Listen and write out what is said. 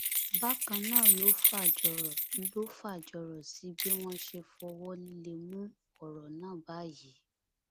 bákan náà ló fàjọrò ló fàjọrò sí bí wọn ṣe fọwọ líle mú ọrọ náà báyìí